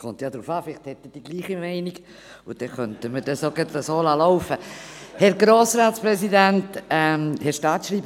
Es kommt darauf an, vielleicht ist er gleicher Meinung wie ich, sodass wir es auch so laufen lassen könnten.